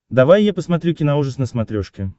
давай я посмотрю киноужас на смотрешке